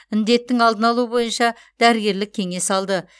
індеттің алдын алу бойынша дәрігерлік кеңес алды